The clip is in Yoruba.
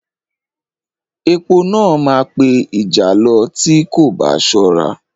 Epo náà máa pe ìjàlọ tí o kò bá ṣọ́ra.